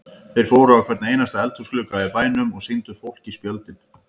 Þeir fóru á hvern einasta eldhúsglugga í bænum og sýndu fólki spjöldin.